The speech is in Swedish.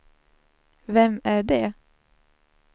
vem är det